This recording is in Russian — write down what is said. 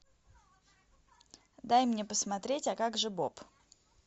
дай мне посмотреть а как же боб